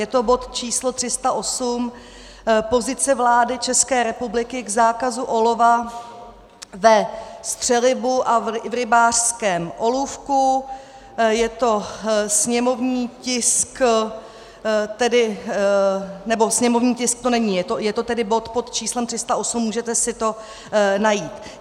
Je to bod číslo 308 - Pozice vlády České republiky k zákazu olova ve střelivu a v rybářském olůvku, je to sněmovní tisk - nebo sněmovní tisk to není, je to tedy bod pod číslem 308, můžete si to najít.